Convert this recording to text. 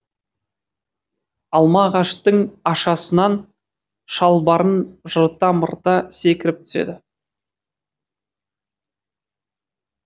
алма ағаштың ашасынан шалбарын жырта мырта секіріп түседі